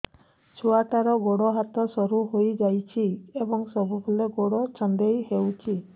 ଛୁଆଟାର ଗୋଡ଼ ହାତ ସରୁ ହୋଇଯାଇଛି ଏବଂ ସବୁବେଳେ ଗୋଡ଼ ଛଂଦେଇ ହେଉଛି